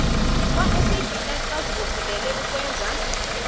kwasabs bazibophelele ukwenza